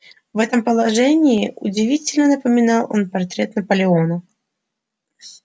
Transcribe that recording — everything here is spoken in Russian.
в этом положении удивительно напоминал он портрет наполеона